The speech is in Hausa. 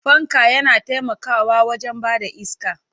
Fanka yana taimakawa wajen ba da iska.